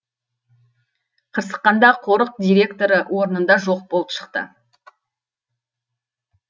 қырсыққанда қорық директоры орнында жоқ болып шықты